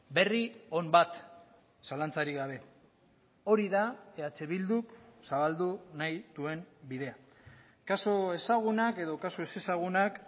berri on bat zalantzarik gabe hori da eh bilduk zabaldu nahi duen bidea kasu ezagunak edo kasu ezezagunak